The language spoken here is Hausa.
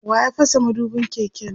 waya fasa madubin keken?